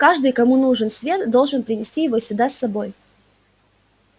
каждый кому нужен свет должен принести его сюда с собой